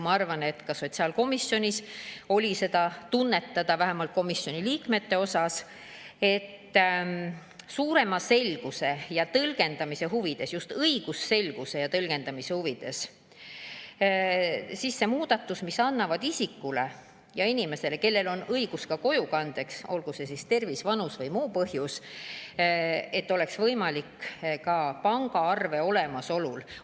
Ma arvan, et ka sotsiaalkomisjonis oli seda tunnetada, vähemalt komisjoni liikmete seas, et suurema selguse ja tõlgendamise huvides, just õigusselguse ja tõlgendamise huvides, muudatust, mis annaks inimesele, kellel on õigus ka kojukande, olgu see põhjus siis tervis, vanus või muu, selle võimaluse ka pangaarve olemasolu korral.